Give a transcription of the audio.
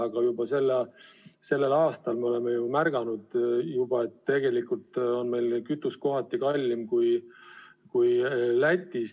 Aga juba sellel aastal me oleme märganud, et tegelikult on meil kütus kohati kallim kui Lätis.